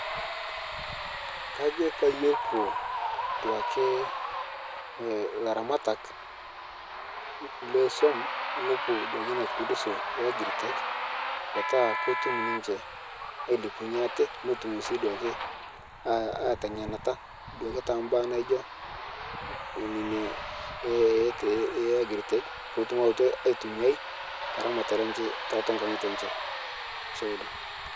kajo peiye epuo duake laramatak lesuom nopuo duake inia kupundusoo ee agritech petaa kotum ninshe ailepunye atee notum sii duake aiteng'enata duake te mbaa naijo nenia ee agritech pootum awotu aitumiai taramatare enshe tatua nkang'ite enshe ashe oleng.'